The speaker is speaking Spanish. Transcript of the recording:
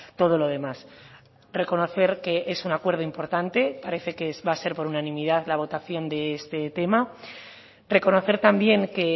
todo lo demás reconocer que es un acuerdo importante parece que va a ser por unanimidad la votación de este tema reconocer también que